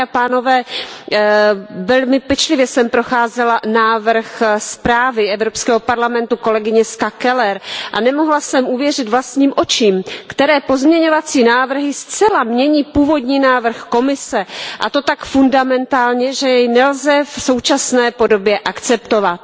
Dámy a pánové, velmi pečlivě jsem procházela návrh zprávy Evropského parlamentu kolegyně Ska Kellerové a nemohla jsem uvěřit vlastním očím, jak některé pozměňovací návrhy zcela mění původní návrh Komise, a to tak zásadně, že jej nelze v současné podobě akceptovat.